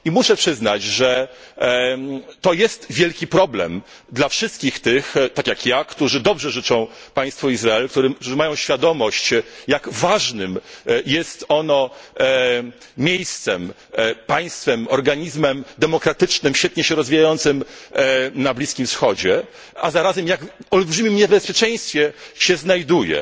I muszę przyznać, że to jest wielki problem dla wszystkich tych tak jak ja którzy dobrze życzą państwu Izrael, którzy mają świadomość, jak ważnym jest ono miejscem, państwem, organizmem demokratycznym, świetnie się rozwijającym na Bliskim Wschodzie, a zarazem w jak olbrzymim niebezpieczeństwie się znajduje.